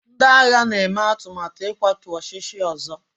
ndị agha na-eme atụmatụ ịkwatu ọchịchị ọzọ